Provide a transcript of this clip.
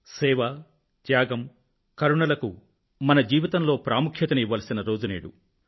సేవ త్యాగం మరియు కరుణలకు మన జీవితంలో ప్రాముఖ్యాన్ని ఇవ్వాల్సిన రోజు నేడు